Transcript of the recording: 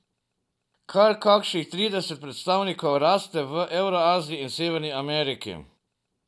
Kar kakih trideset predstavnikov raste v Evraziji in Severni Ameriki.